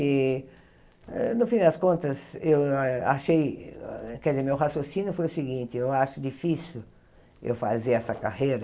E, hã no fim das contas, eu ah achei, quer dizer, meu raciocínio foi o seguinte, eu acho difícil eu fazer essa carreira.